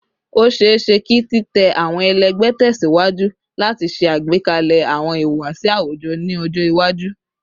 O ṣeeṣe ki titẹ awọn ẹlẹgbẹ tẹsiwaju lati ṣe agbekalẹ awọn ihuwasi awujọ ni ọjọ iwaju